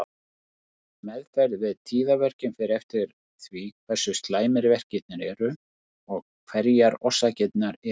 Meðferð við tíðaverkjum fer eftir því hversu slæmir verkirnir eru og hverjar orsakirnar eru.